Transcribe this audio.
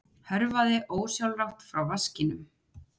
Hörfaði ósjálfrátt frá vaskinum.